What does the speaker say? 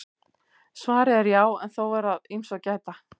Svarið er já en þó er að ýmsu að gæta.